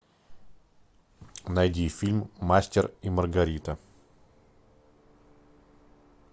найди фильм мастер и маргарита